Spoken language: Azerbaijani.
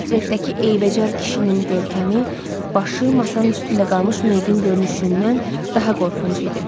Partretdəki eybəcər kişinin görkəmi, başı masanın üstündə qalmış meyidin görünüşündən daha qorxunc idi.